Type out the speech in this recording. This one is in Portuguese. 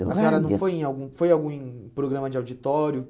Do rádio? A senhora não foi em algum foi em algum em programa de auditório?